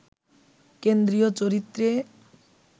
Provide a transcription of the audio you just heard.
কেন্দ্রীয় চরিত্রে